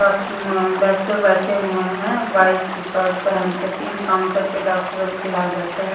Doctor बैठे हुए हैं वाइट शर्ट पहन के तीन काउंटर पर डॉक्टर अभी फिलहाल बैठे हैं।